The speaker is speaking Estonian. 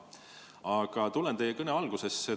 Aga tulen teie kõne algusesse.